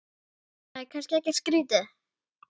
Það er kannski ekkert skrýtið?